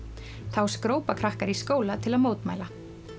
þá skrópa krakkar í skóla til að mótmæla